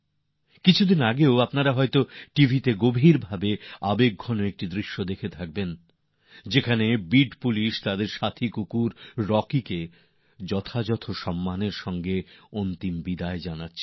কিছুদিন আগে হয়তো টিভিতে খুব বেদনাদায়ক একটি দৃশ্য দেখেছেন যাতে বিড পুলিশ তাদের সাথী কুকুর রকিকে পূর্ণ সম্মানের সঙ্গে শেষ বিদায় জানাচ্ছেন